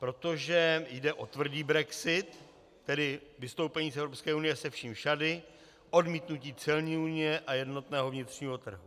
Protože jde o tvrdý brexit, tedy vystoupení z EU se vším všudy, odmítnutí celní unie a jednotného vnitřního trhu.